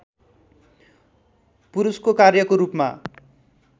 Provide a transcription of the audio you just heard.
पुरुषको कार्यको रूपमा